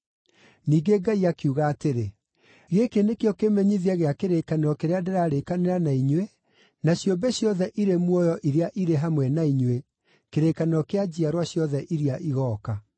Ningĩ Ngai akiuga atĩrĩ, “Gĩkĩ nĩkĩo kĩmenyithia gĩa kĩrĩkanĩro kĩrĩa ndĩrarĩkanĩra na inyuĩ na ciũmbe ciothe irĩ muoyo irĩ hamwe na inyuĩ, kĩrĩkanĩro kĩa njiarwa ciothe iria igooka: